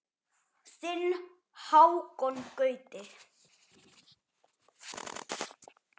Þinn Hákon Gauti.